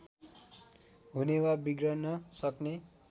हुने वा बिग्रन सक्ने